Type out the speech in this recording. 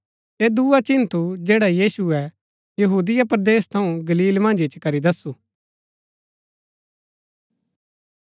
ऐह दुआ चिन्ह थू जैडा यीशुऐ यहूदिया परदेस थऊँ गलील मन्ज इच्ची करी दस्सु